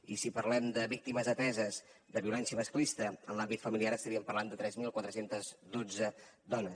i si parlem de víctimes ateses de violència masclista en l’àmbit familiar estaríem parlant de tres mil quatre cents i dotze dones